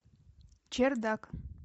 чердак